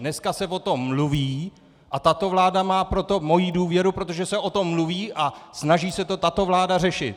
Dneska se o tom mluví a tato vláda má proto moji důvěru, protože se o tom mluví a snaží se to tato vláda řešit.